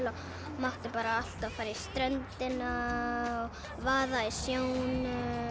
mætti alltaf fara á ströndina og vaða í sjónum